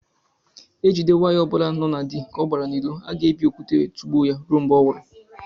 Ejide nwaanyị obula no na dị ka ọ gbara n' ilo aga ebi okwute wee tugbuo ya rue mgbe ọnwuru